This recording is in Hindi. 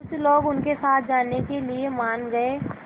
कुछ लोग उनके साथ जाने के लिए मान गए